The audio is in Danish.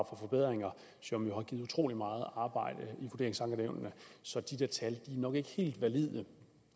for forbedringer som jo har givet utrolig meget arbejde i vurderingsankenævnene så de der tal er nok ikke helt valide